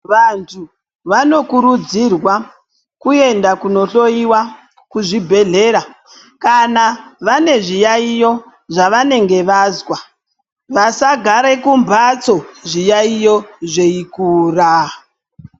Vantu vanokurudzirwa kuenda kunohloiwa kuzvibhedhleya. Kana vane zviyaiyo zvavanenge vazwa vasagare kumhatso zviyaiyo zveikura.